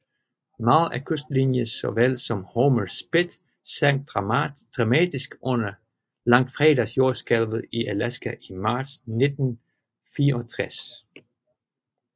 Meget af kystlinjen så vel som Homer Spit sank dramatisk under langfredagsjordskælvet i Alaska i marts 1964